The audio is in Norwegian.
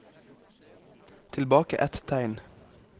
Tilbake ett tegn